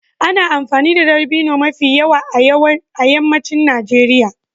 Ana amfani da dabino mafi yawa a yammacin Najeriya.